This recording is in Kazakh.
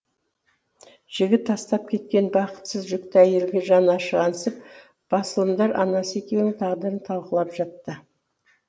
жігіт тастап кеткен бақытсыз жүкті әйелге жаны ашығансып басылымдар анасы екеуінің тағдырын талқылап жатты